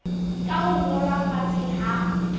ka ho ngolwa fatshe ha